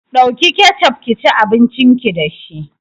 Ɗauki kecof kici abincin ki dashi